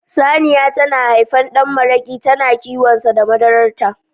Saniya ta na haifan ɗan maraƙi tana kiwonsa da madarar ta